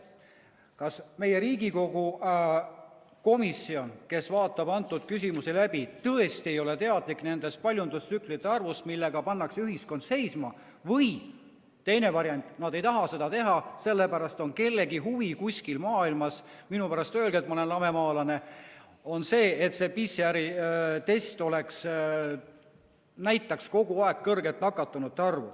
Kas meie Riigikogu komisjon, kes vaatab neid küsimusi läbi, tõesti ei ole teadlik nendest paljundustsüklite arvust, millega pannakse ühiskond seisma, või teine variant: nad ei taha seda uurida, sellepärast et on kellegi kuskil maailmas on huvi – minu pärast öelge, et ma olen lamemaalane –, et see PCR‑test näitaks kogu aeg kõrget nakatunute arvu.